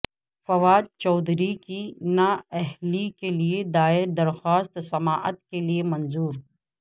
فواد چودھری کی نااہلی کےلئے دائر درخواست سماعت کےلئے منظور